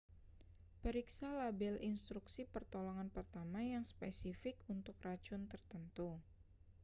periksa label instruksi pertolongan pertama yang spesifik untuk racun tertentu